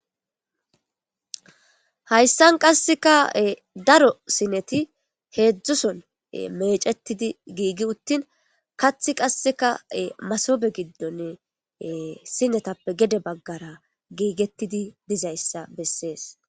Hayssan qasseka dara siinetti heedzdzusson meecetiidi Gigi utiin qasseka masoobe giddoni ee siinettappe gede baggara gigetiidi mizayssa besees